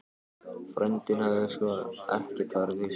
Frændinn hafði sko ekkert farið til sjós.